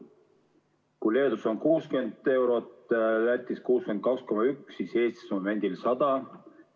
Kui Leedus on see 60 eurot ja Lätis 62,1, siis Eestis momendil 100.